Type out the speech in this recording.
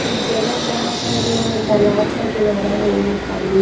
एक जगह जहाँ पर अ तालाब का किनारा है ये पानी--